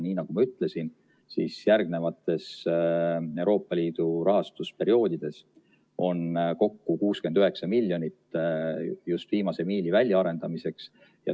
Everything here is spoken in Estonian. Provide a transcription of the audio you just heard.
Nii nagu ma ütlesin, siis järgnevatel Euroopa Liidu rahastusperioodidel on kokku 69 miljonit just viimase miili väljaarendamiseks.